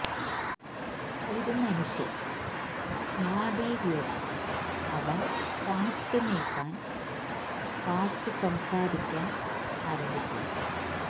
ഒരു മനുഷ്യൻ നാഡീവ്യൂഹം അവൻ ഫാസ്റ്റ് നീക്കാൻ ഫാസ്റ്റ് സംസാരിക്കാൻ ആരംഭിക്കുന്നു